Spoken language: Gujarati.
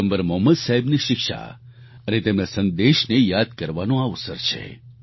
પયગમ્બર મોહમ્મદ સાહેબની શિક્ષા અને તેમના સંદેશને યાદ કરવાનો આ અવસર છે